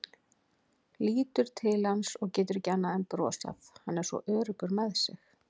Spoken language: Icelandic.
Lítur til hans og getur ekki annað en brosað, hann er svo öruggur með sig.